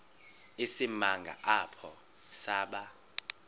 isimanga apho saba